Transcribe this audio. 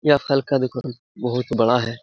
यह फल का दुकान बहुत बड़ा है ।